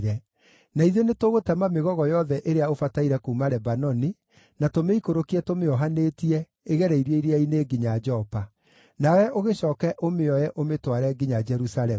na ithuĩ nĩtũgũtema mĩgogo yothe ĩrĩa ũbataire kuuma Lebanoni, na tũmĩikũrũkie tũmĩohanĩtie, ĩgereirio iria-inĩ nginya Jopa. Nawe ũgĩcooke ũmĩoe ũmĩtware nginya Jerusalemu.”